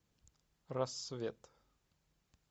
рассвет